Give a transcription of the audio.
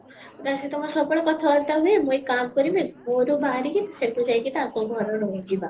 ତା ସହିତ ମୋର ସବୁବେଳେ କଥା ବାର୍ତା ହୁଏ ମୁଁ ଏକ କାମ କରିବି ଘରୁ ବାହରିକି ସେଠି ଯାଇକି ତାଙ୍କ ଘରେ ଯାଇକି ରହିଯିବା